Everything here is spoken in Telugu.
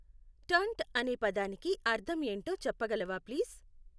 టర్న్ట అనే పదానికి అర్థం ఏంటో చెప్పగలవా ప్లీజ్.